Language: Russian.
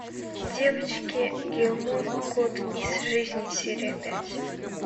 девочки гилмор год из жизни серия пять